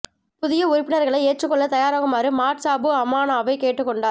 புதிய உறுப்பினர்களை ஏற்றுக்கொள்ள தயாராகுமாறு மாட் சாபு அமானாவை கேட்டுக் கொண்டார்